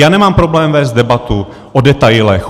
Já nemám problém vést debatu o detailech.